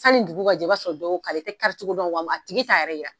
Sanni dugu ka jɛ i b'a sɔrɔ dɔ y'o kari, i tɛ karicogo dɔn a tigi t'a yɛrɛ yira.